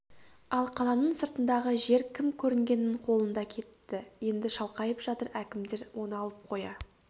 ал қаланың сыртындағы жер кім көрінгеннің қолында кетті енді шалқайып жатыр әкімдер оны алып қоя